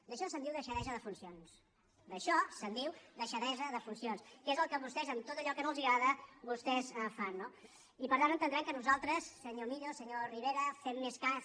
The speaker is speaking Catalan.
d’això se’n diu deixadesa de funcions d’això se’n diu deixadesa de funcions que és el que vostès en tot allò que no els agrada vostès fan no i per tant entendran que nosaltres senyor millo senyor rivera fem més cas